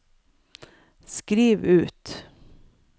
skriv ut